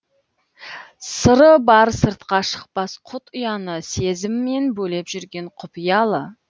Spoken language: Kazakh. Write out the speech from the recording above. сыры бар сыртқа шықпас құт ұяны сезіммен бөлеп жүрген құпиялы